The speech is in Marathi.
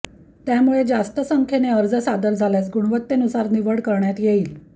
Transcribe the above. त्यामुळे जास्त संख्येने अर्ज सादर झाल्यास गुणवत्तेनुसार निवड करण्यात येईल